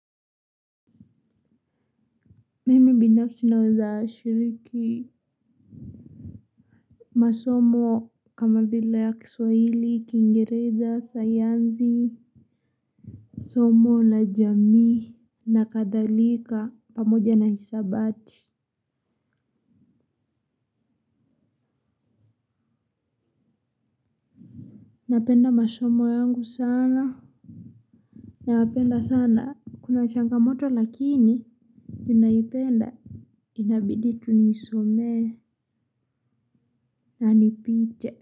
Mimi binafsi naweza shiriki. Masomo kama vile ya kiswahili, kiingereza, sayansi. Somo na jamii na kadhalika, pamoja na hisabati. Napenda masomo yangu sana. Napenda sana, kuna changamoto lakini Ninaipenda. Inabidi tu niisome na nipite.